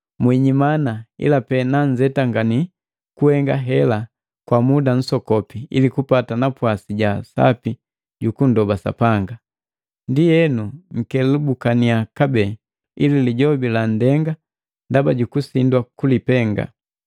Mwijimana, ilape nanzetangani kuhenga hela kwa muda nsokopi, ili kupata napwasi ja sapi jukundoba Sapanga. Ndienu nkelubukaniya kabee, ili lijobi landenga ndaba jukusindwa kulipenga.